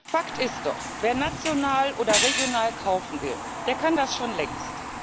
Fakt ist doch Wer national oder regional kaufen will, der kann das schon längst.